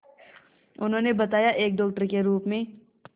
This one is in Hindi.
उन्होंने बताया एक डॉक्टर के रूप में